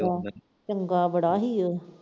ਚੰਗਾ ਬੜਾ ਸੀ ਉਹ।